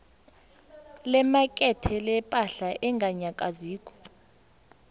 lemakethe lepahla enganyakaziko